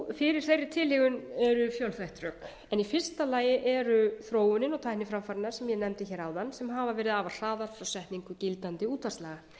fyrir þeirri tilhögun eru fjölþætt rök en í fyrsta lagi er þróunin og tækniframfarirnar sem ég nefndi áðan sem hafa verið afar hraðar frá setningu gildandi útvarpslaga